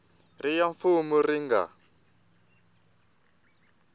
ri ya mfumo yi nga